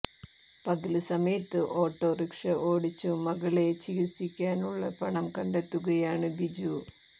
പകല് സമയത്ത് auto rickshaw ഓടിച്ചു മകളെ ചികിത്സിക്കാനുള്ള പണം കണ്ടെത്തുകയാണ് ബിജു